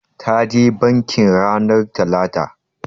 Ta je bankin ranar talata.